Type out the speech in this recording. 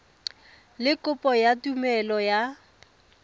le kopo ya tumelelo ya